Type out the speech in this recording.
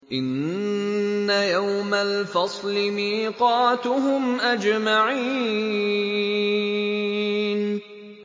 إِنَّ يَوْمَ الْفَصْلِ مِيقَاتُهُمْ أَجْمَعِينَ